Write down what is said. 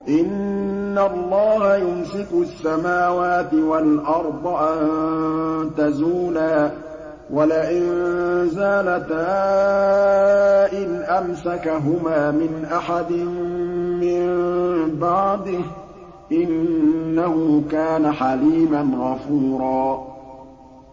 ۞ إِنَّ اللَّهَ يُمْسِكُ السَّمَاوَاتِ وَالْأَرْضَ أَن تَزُولَا ۚ وَلَئِن زَالَتَا إِنْ أَمْسَكَهُمَا مِنْ أَحَدٍ مِّن بَعْدِهِ ۚ إِنَّهُ كَانَ حَلِيمًا غَفُورًا